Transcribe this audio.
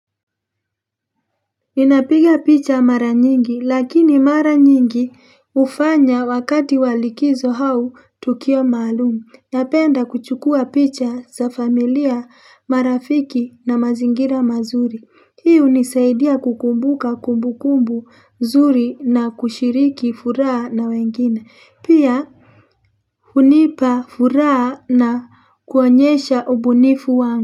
Ninapiga picha mara nyingi lakini mara nyingi hufanya wakati wa likizo au tukio maalumu napenda kuchukua picha za familia marafiki na mazingira mazuri hiyo hunisaidia kukumbuka kumbukumbu zuri na kushiriki furaha na wengine pia hunipa furaha na kuonyesha ubunifu wangu.